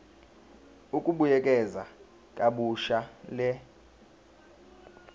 ukubuyekeza kabusha le